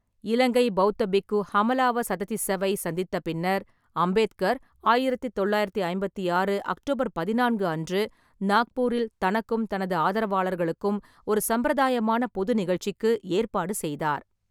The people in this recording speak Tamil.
இலங்கை பெளத்த பிக்கு ஹமலாவ சததிஸ்ஸவை சந்தித்த பின்னர், அம்பேத்கர் ஆயிரத்தி தொள்ளாயிரத்தி ஐம்பத்தி ஆறு அக்டோபர் பதினான்கு அன்று நாக்பூரில் தனக்கும் தனது ஆதரவாளர்களுக்கும் ஒரு சம்பிரதாயமான பொது நிகழ்ச்சிக்கு ஏற்பாடு செய்தார்.